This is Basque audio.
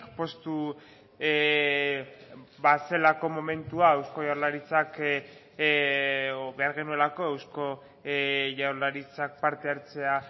poztu bazelako momentua eusko jaurlaritzak behar genuelako eusko jaurlaritzak parte hartzea